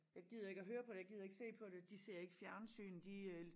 Jeg gider ikke at høre på det jeg gider ikke se på det de ser ikke fjernsyn de øh